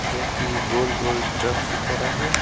जोकि गोल गोल ड्रम की तरह है।